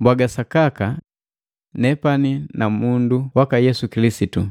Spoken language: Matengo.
Mbwaga sakaka nepani namundu waka Yesu Kilisitu,